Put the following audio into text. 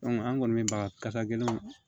an kɔni bɛ baga kasa gɛlɛnw